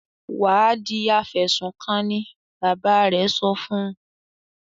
"Wà á di afẹ̀sùnkanni!" Bàbá rẹ̀ sọ fún un.